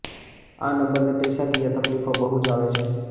આ નંબરને પૈસાકીય તકલીફો બહુ જ આવે છે